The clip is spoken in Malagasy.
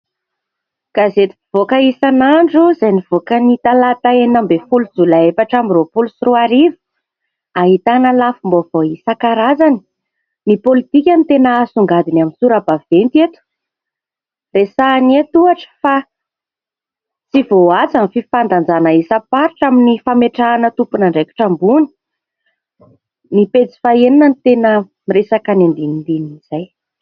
Gazety mpivoaka isanandro izay nivoaka ny talata enina ambin'ny folo jolay efatra amby roapolo sy roa arivo ahitana lafim-baovao isan-karazany. Ny pôlitika no tena hasongadiny amin'ny sora-baventy eto. Resahany eto ohatra fa tsy voahaja ny fifandanjana isam-paritra amin'ny fametrahana tompon'andraikitra ambony. Ny pejy fahaenina no tena miresaka ny andinindinin'izay.